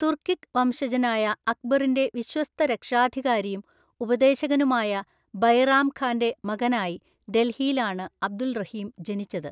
തുർക്കിക് വംശജനായ അക്ബറിന്റെ വിശ്വസ്ത രക്ഷാധികാരിയും ഉപദേശകനുമായ ബൈറാം ഖാന്റെ മകനായി ഡൽഹിയിലാണ് അബ്ദുൾ റഹീം ജനിച്ചത്.